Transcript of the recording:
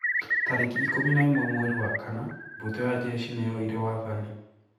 Tarĩki ikũmi na ĩmwe mweri wa kana, mbũtũ ya njeshi nĩ yoire wathani.